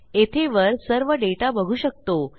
येथे वर सर्व डेटा बघू शकतो